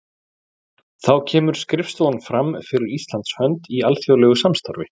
Þá kemur skrifstofan fram fyrir Íslands hönd í alþjóðlegu samstarfi.